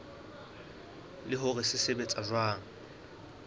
le hore se sebetsa jwang